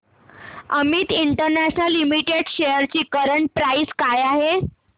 Amit international limited shares ची current price काय आहे